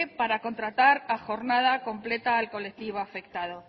para contratar a jornada completa al colectivo afectado